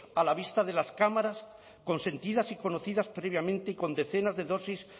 a la vista de las cámaras consentidas y conocidas previamente y con decenas de dosis